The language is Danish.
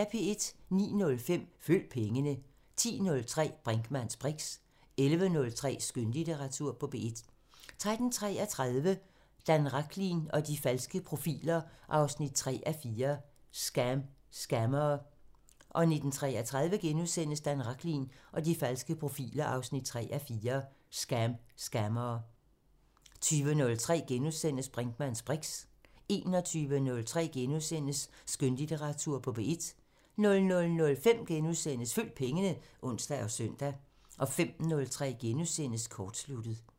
09:05: Følg pengene 10:03: Brinkmanns briks 11:03: Skønlitteratur på P1 13:33: Dan Rachlin og de falske profiler 3:4 – Scam scammere 19:33: Dan Rachlin og de falske profiler 3:4 – Scam scammere * 20:03: Brinkmanns briks * 21:03: Skønlitteratur på P1 * 00:05: Følg pengene *(ons og søn) 05:03: Kortsluttet *